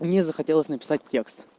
мне захотелось написать текст